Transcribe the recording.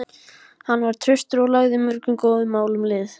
Hann var traustur og lagði mörgum góðum málum lið.